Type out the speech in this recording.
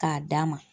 K'a d'a ma